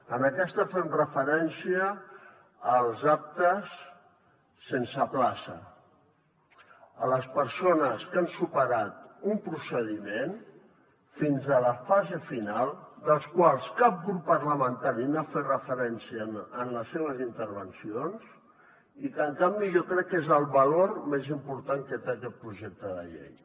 en aquesta fem referència als aptes sense plaça a les persones que han superat un procediment fins a la fase final dels quals cap grup parlamentari n’ha fet referència en les seves intervencions i que en canvi jo crec que és el valor més important que té aquest projecte de llei